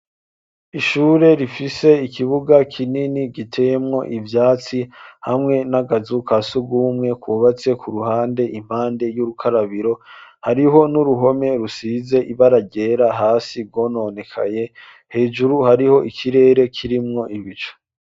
Ishure rifise ikibuga kinini giteyemwo ivyatsi hamwe n'akazu ka sugumwe kubatse ku ruhande impande y'urukarabiro hariho n'uruhome rusize ibaragera hasi gononekaye hejuru hariho ikirere kirimwo ibicu.